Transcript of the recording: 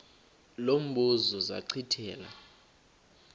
lo mbuzo zachithela